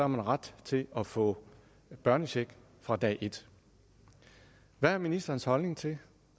man ret til at få børnecheck fra dag et hvad er ministerens holdning til